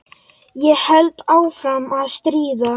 Ég held áfram að stríða.